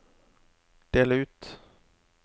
del ut